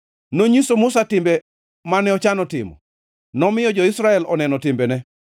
Nonyiso Musa timbe mane ochano timo, nomiyo jo-Israel oneno timbene.